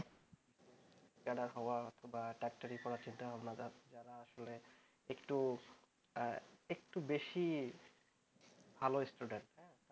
যারা তোমার ডাক্তারি পড়ার চিন্তা ভাবনা করছে তারা একটু একটু বেশি ভাল student